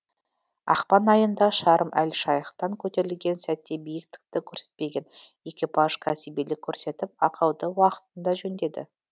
ақпан айында шарм эль шейхтан көтерілген сәтте биіктікті көрсетпеген экипаж кәсібилік көрсетіп ақауды уақытында жөндеді